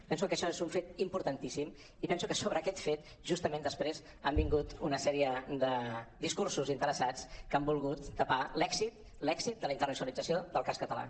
penso que això és un fet importantíssim i penso que sobre aquest fet justament després han vingut una sèrie de discursos interessats que han volgut tapar l’èxit l’èxit de la internacionalització del cas català